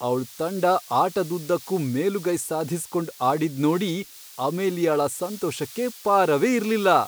ಅವ್ಳ್ ತಂಡ ಆಟದುದ್ದಕ್ಕೂ ಮೇಲುಗೈ ಸಾಧಿಸ್ಕೊಂಡ್ ಆಡಿದ್ನೋಡಿ ಅಮೇಲಿಯಾಳ ಸಂತೋಷಕ್ಕೆ ಪಾರವೇ ಇರ್ಲಿಲ್ಲ.